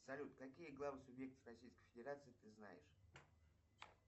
салют какие главы субъектов российской федерации ты знаешь